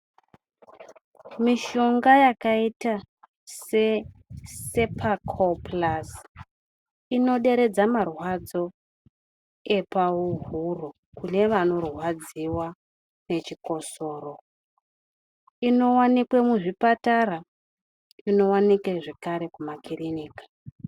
Mishonga yakaita se cepacol plus, inoderedza marwadzo epahuro kune vanorwadziwa nechechikosoro. Inowanikwa mizvipatara inowanikwa zvakare muma kirinika.